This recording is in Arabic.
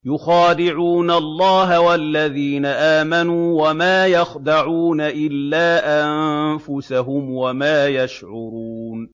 يُخَادِعُونَ اللَّهَ وَالَّذِينَ آمَنُوا وَمَا يَخْدَعُونَ إِلَّا أَنفُسَهُمْ وَمَا يَشْعُرُونَ